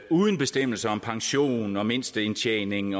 uden bestemmelser om pension og mindste indtjening